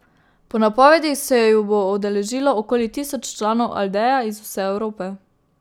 Po napovedih se ju bo udeležilo okoli tisoč članov Aldeja iz vse Evrope.